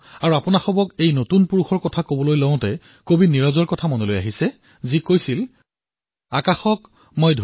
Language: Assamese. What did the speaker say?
যেতিয়াই মই যুৱকযুৱতীসকলৰ কথা আপোনালোকক কওঁ তেতিয়া ইয়াৰ সৈতে মোৰ নীৰজ মহোদয়ৰ কথাও মনলৈ আহে আৰু জীৱনৰ লক্ষ্যতো সেয়াই